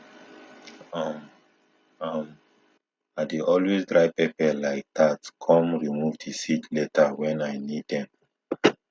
um um i dey always dry pepper like that com remove di seed later wen i need dem